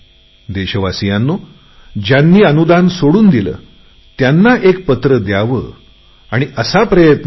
देशवासीयांनो ज्यांनी स्वयंपाकाच्या गॅसवरची सबसिडी सोडून दिली त्यांना एक पत्र द्यावे याचा प्रयत्न केला